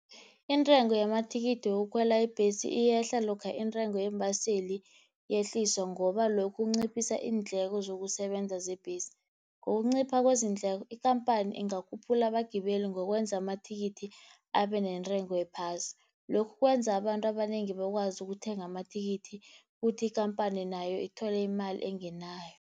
Intengo yamathikithi wokukhwela ibhesi iyehla, lokha intengo yeembaseli yehliswa ngoba lokhu kunciphisa iindleko zokusebenza zebhesi. Ngokunciphisa kwezindleko ikampani ingakhuphula abagibeli ngokwenza amathikithi abe nentengo ephasi. Lokhu kwenza abantu abanengi bakwazi ukuthenga amathikithi, kuthi ikhamphani nayo ithole imali engenako.